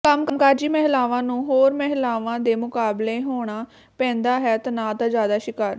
ਕੰਮਕਾਜੀ ਮਹਿਲਾਵਾਂ ਨੂੰ ਹੋਰ ਮਹਿਲਾਵਾਂ ਦੇ ਮੁਕਾਬਲੇ ਹੋਣਾ ਪੈਂਦਾ ਹੈ ਤਣਾਅ ਦਾ ਜ਼ਿਆਦਾ ਸ਼ਿਕਾਰ